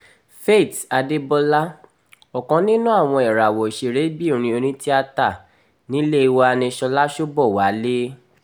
faith adébọlá ọ̀kan nínú àwọn ìràwọ̀ òṣèré-bìnrin onítìátà nílé wa ni ṣọ́lá ṣobowalé